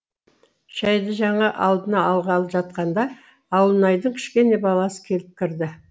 шәйді жаңа алдына алғалы жатқанда ауылнайдың кішкене баласы келіп кірді